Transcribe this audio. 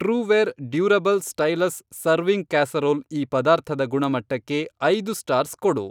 Trueware durable stylish serving casserole ಈ ಪದಾರ್ಥದ ಗುಣಮಟ್ಟಕ್ಕೆ ಐದು ಸ್ಟಾರ್ಸ್ ಕೊಡು.